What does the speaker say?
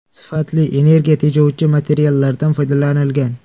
Sifatli, energiya tejovchi materiallardan foydalanilgan.